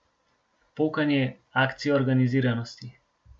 Pokanje, akcija organiziranost.